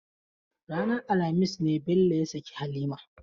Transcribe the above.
Ranar alhamis ne Bello ya sake Halima.